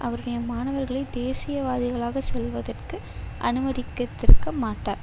அவருடைய மாணவர்களை தேசியவாதிகளாக செல்வதற்கு அனுமதித்திருக்கமாட்டார்